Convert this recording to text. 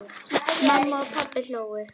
Mamma og pabbi hlógu.